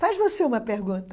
Faz você uma pergunta.